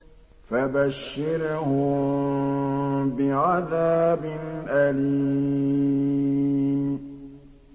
فَبَشِّرْهُم بِعَذَابٍ أَلِيمٍ